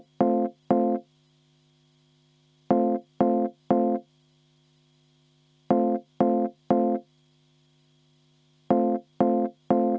Kas teie soovite ka hääletamist?